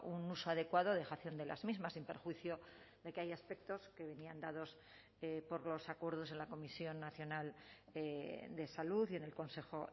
un uso adecuado dejación de las mismas sin perjuicio de que hay aspectos que venían dados por los acuerdos en la comisión nacional de salud y en el consejo